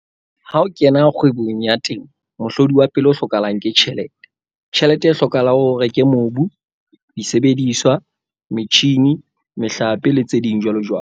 Ha o kena kgwebong ya temo, mohlodi wa pele o hlokahalang ke tjhelete. Tjhelete e hlokahala hore o reke mobu, disebediswa, metjhine, mehlape le tse ding jwalojwalo.